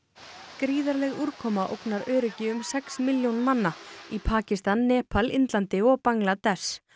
gríðarleg úrkoma ógnar öryggi um sex milljóna manna í Pakistan Nepal Indlandi og Bangladess